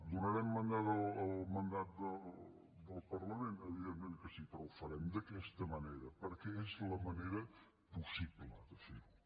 donarem mandat al mandat del parlament evidentment que sí però ho farem d’aquesta manera perquè és la manera possible de fer ho